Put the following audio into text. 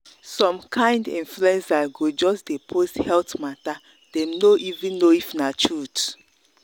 some kind influencers go just dey post health matter dem no even know if na truth